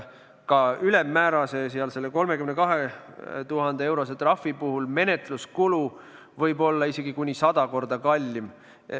Ka ülemmäärakohase, selle 32 000 euro suuruse trahvi puhul võib menetluskulu olla isegi kuni sada korda kallim.